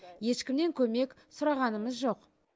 ешкімнен көмек сұрағанымыз жоқ